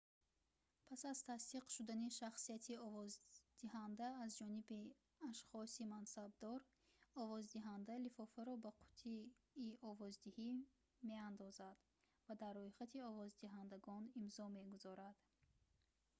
пас аз тасдиқ шудани шахсияти овоздиҳанда аз ҷониби ашхоси мансабдор овоздиҳанда лифофаро ба қуттии овоздиҳӣ меандозад ва дар рӯйхати овоздиҳандагон имзо мегузорад